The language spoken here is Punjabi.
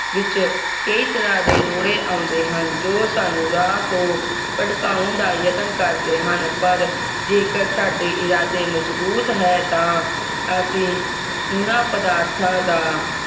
ਵਿਚ ਕਈ ਤਰ੍ਹਾਂ ਦੇ ਰੋਡੇ ਆਉਂਦੇ ਹਨ ਜੋ ਸਾਨੂੰ ਰਾਹ ਤੋਂ ਭਟਕਾਉਣ ਦਾ ਯਤਨ ਕਰਦੇ ਹਨ ਪਰ ਜੇਕਰ ਸਾਡੇ ਇਰਾਦੇ ਮਜਬੂਤ ਹੈ ਤਾਂ ਅਸੀਂ ਓਹਨਾ ਪਦਾਰਥਾਂ ਦਾ